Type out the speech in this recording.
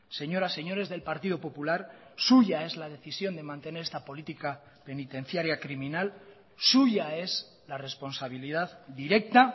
señoras señores del partido popular suya es la decisión de mantener esta política penitenciaria criminal suya es la responsabilidad directa